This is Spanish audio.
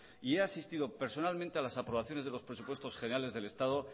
y he asistido personalmente a las aprobaciones de los presupuestos generales del estado